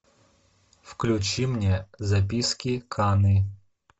включи мне записки каны